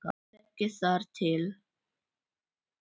Ég þekki þar til.